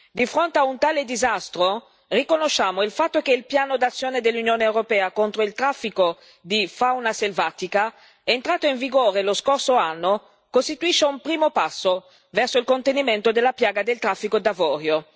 Di fronte a un tale disastro riconosciamo il fatto che il piano d'azione dell'Unione europea contro il traffico di fauna selvatica, entrato in vigore lo scorso anno, costituisce un primo passo verso il contenimento della piaga del traffico d'avorio.